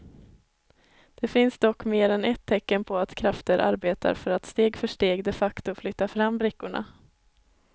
Det finns dock mer än ett tecken på att krafter arbetar för att steg för steg de facto flytta fram brickorna.